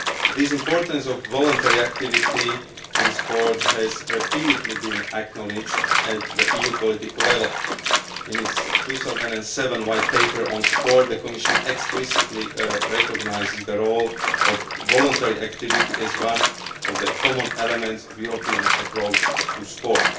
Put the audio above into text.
This importance of voluntary activity in sport has repeatedly been acknowledged at the EU political level in its 2007 White Paper on Sport, the Commission explicitly recognises the role of voluntary activity as one of the common elements of the European approach to sport.